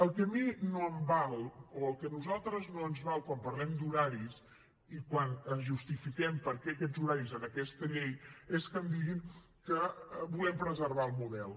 el que a mi no em val o el que a nosaltres no ens val quan parlem d’horaris i quan justifiquem per què aquests horaris en aquesta llei és que em diguin que volem preservar el model